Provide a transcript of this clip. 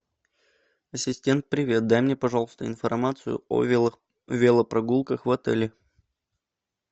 ассистент привет дай мне пожалуйста информацию о велопрогулках в отеле